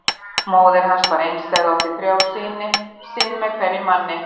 Móðir hans var einstæð og átti þrjá syni, sinn með hverjum manni.